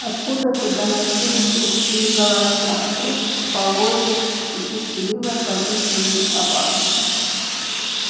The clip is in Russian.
откуда-то доносились людские голоса скрип полозьев нетерпеливое повизгивание собак